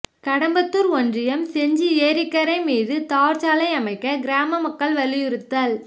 கடம்பத்தூர் ஒன்றியம் செஞ்சி ஏரிக்கரை மீது தார்ச்சாலை அமைக்க கிராம மக்கள் வலியுறுத்தல்